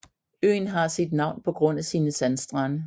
Øen har sit navn på grund af sine sandstrande